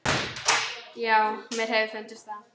Já, mér hefur fundist það.